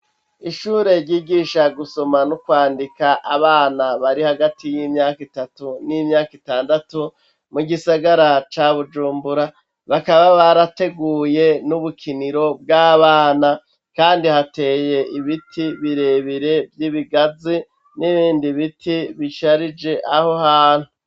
Ishure ryigisha gusoma no kwandika abana bari hagati y'imyaka itatu n'imyaka itandatu mu gisagara ca bujumbura bakaba barateguye n'ubukiniro bw'abana, kandi hateye ibiti birebire vy'ibigazi n'ibindi biti bisharije aho hantu.